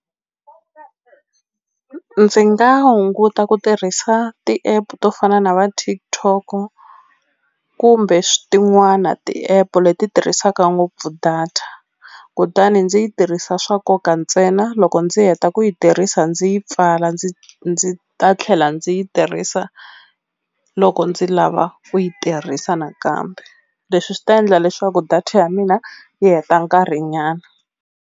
Ndzi nga hunguta ku tirhisa ti-app to fana na va Tiktok kumbe tin'wana ti-app leti tirhisaka ngopfu data kutani ndzi yi tirhisa swa nkoka ntsena loko ndzi heta ku yi tirhisa ndzi yi pfala ndzi ndzi ta tlhela ndzi yi tirhisa loko ndzi lava ku yi tirhisa nakambe leswi swi ta endla leswaku data ya mina yi heta nkarhi nyana.